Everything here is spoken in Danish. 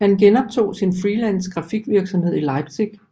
Han genoptog sin freelance grafikvirksomhed i Leipzig